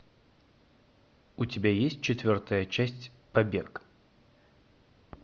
у тебя есть четвертая часть побег